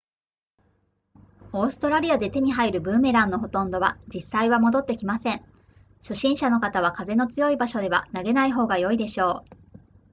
オーストラリアで手に入るブーメランのほとんどは実際は戻って来ません初心者の方は風の強い場所では投げない方が良いでしょう